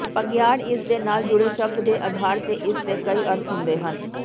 ਬਘਿਆੜ ਇਸਦੇ ਨਾਲ ਜੁੜੇ ਸ਼ਬਦ ਦੇ ਅਧਾਰ ਤੇ ਇਸਦੇ ਕਈ ਅਰਥ ਹੁੰਦੇ ਹਨ